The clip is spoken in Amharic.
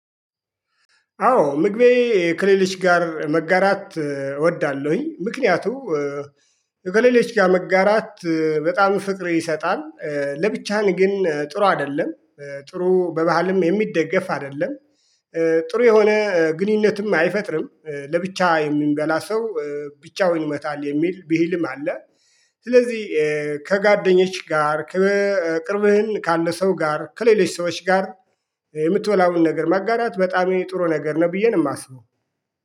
አዎ ምግቤን ከሌሎች ጋር መጋራት እወዳለሁኝ ምክንያቱም ከሌሎች ጋር መጋራት በጣም ፍቅር ይሰጣል። ለብቻህን ግን ጥሩ አይደለም ጥሩ በባህልም የሚደገፍ አይደለም። ጥሩ የሆነ ግንኙነትም አይፈጥርም ለብቻ የሚበላ ሰው ብቻውን ይሞታል የሚል ቢህልም አለ። ስለዚህ ከጋደኞች ጋር። ቅርብህን ካለ ሰው ጋር ከሌለች ሰዎች ጋር የምትበላውን ነገር ማጋራት በጣም ጥሩ ነገር ነው። ብዬ ነው የማስበው